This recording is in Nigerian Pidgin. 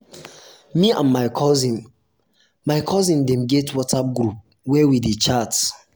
me and my cousin my cousin dem get whatsapp group where we dey chat